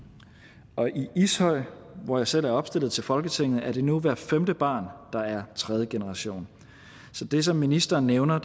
og i ishøj hvor jeg selv er opstillet til folketinget er det nu hver femte barn der er tredje generation så det som ministeren nævner